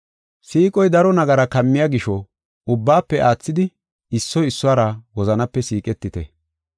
Siiqoy daro nagara kammiya gisho, ubbaafe aathidi issoy issuwara wozanape siiqetite.